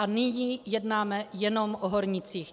A nyní jednáme jenom o hornících.